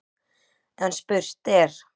En spurt er: